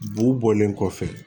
B'u bɔlen kɔfɛ